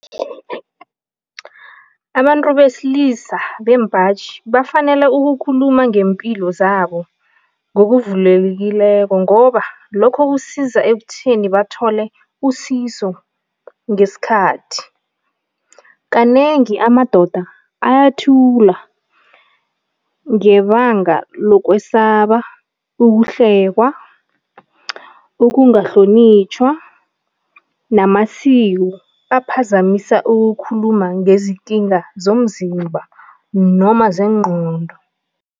Abantu besilisa, bembaji, bafanele ukukhuluma ngempilo zabo ngokuvulekileko ngoba lokho kusiza ekuthini bathole usizo ngesikhathi. Kanengi amadoda ayathula ngebanga lokwesaba ukuhlekwa, ukungahlonitjhwa namasiko aphazamisa ukukhuluma ngezikinga zomzimba noma zengqondo.